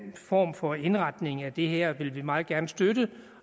form for indretning af det her vil vi meget gerne støtte